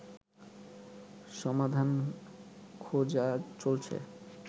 সমাধান খোঁজা চলছে